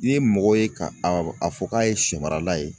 N'i ye mɔgɔ ye ka a fɔ k'a ye sɛmarala ye